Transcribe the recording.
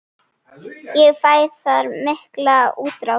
Ég fæ þar mikla útrás.